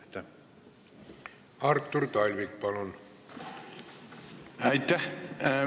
Aitäh!